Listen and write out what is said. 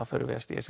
förum við að stíast